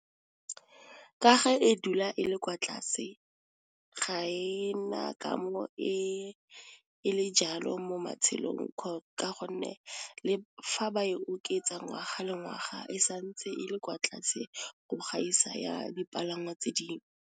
Ka ge e dula e le kwa tlase, ga e na kamo e le jalo mo matshelong ka gonne, le fa ba e oketsa ngwaga le ngwaga e santse e le kwa tlase go gaisa ya dipalangwa tse dingwe.